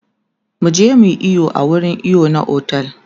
muje muyi iyo a wurin iyo na otel